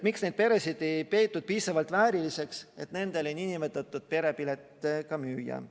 Miks neid peresid ei peetud piisavalt vääriliseks, et nendele perepiletit müüa?